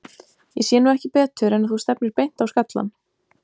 Ég sé nú ekki betur en að þú stefnir beint á skallann.